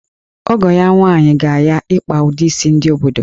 Ọgọ ya nwaanyị ga-ya ịkpa ụdị isi ndị obodo